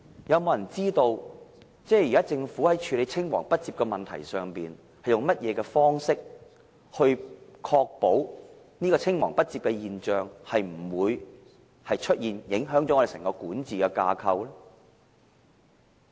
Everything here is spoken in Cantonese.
有沒有人知道現時政府在處理青黃不接的問題上，是用甚麼方式來確保這現象不會出現，不致影響整個管治架構呢？